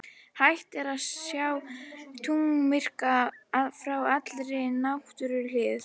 Hægt er að sjá tunglmyrkva frá allri næturhlið jarðar.